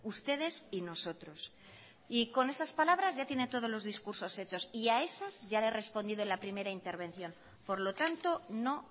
ustedes y nosotros y con esas palabras ya tiene todos los discursos hechos y a esas ya le he respondido en al primera intervención por lo tanto no